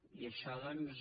i això doncs